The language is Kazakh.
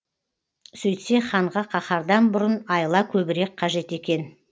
сөйтсе ханға қаһардан бұрын айла көбірек қажет екен